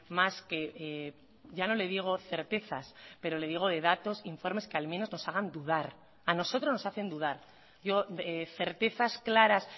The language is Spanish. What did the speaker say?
más que ya no le digo certezas pero le digo de datos informes que al menos nos hagan dudar a nosotros nos hacen dudar yo certezas claras